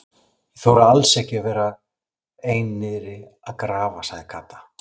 Ég þori alls ekki að vera ein niðri að grafa sagði Kata.